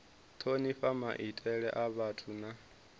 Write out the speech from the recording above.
thonifha maitele a vhathu na